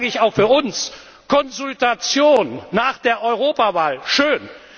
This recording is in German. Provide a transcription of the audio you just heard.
Deshalb sage ich auch für uns Konsultation nach der Europawahl, schön.